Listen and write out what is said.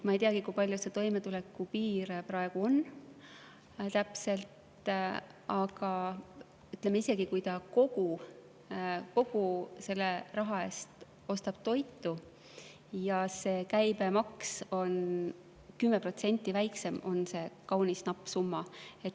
Ma ei teagi, kui palju see toimetulekupiir praegu täpselt on, aga isegi kui inimene kogu selle raha eest ostaks toitu ja selle käibemaks oleks 10% väiksem, oleks see kaunis napp summa.